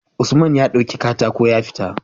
Usman ya dauki katako ya fita